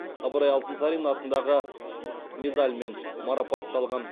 ыбырай алтынсарин атындағы медальмен марапатталған